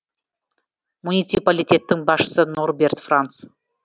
муниципалитеттің басшысы норберт франц